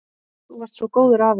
Þú varst svo góður afi.